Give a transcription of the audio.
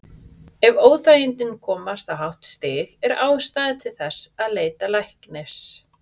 Ef óþægindin komast á hátt stig er ástæða til þess að leita læknis.